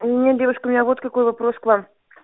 у меня девушка у меня вот какой вопрос к вам